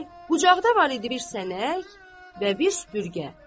qucaqda var idi bir sənək və bir süpürgə.